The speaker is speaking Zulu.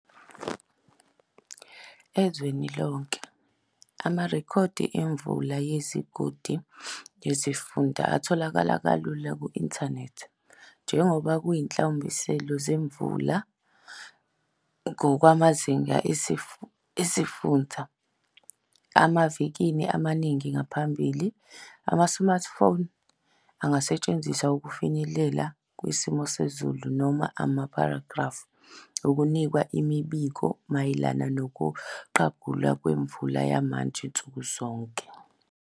Ezweni lonke, amarekhodi emvula yezigodi nezifunda atholakala kalula ku-inthanethi njengoba kuyinhlawumbiselo zemvula ngokwamazinge esifunsa emavikini amaningi angaphambili. Ama-smart phones angasetshenziswa ukufinyelela kusimo sezulu noma amaphrogramu akunika imibiko mayelana nokuqagulwa kwemvula yamanje nsukuzonke.